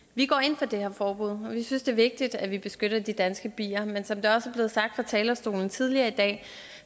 vi går ind for det her forbud og vi synes at det er vigtigt at vi beskytter de danske bier men som det også er blevet sagt fra talerstolen tidligere i dag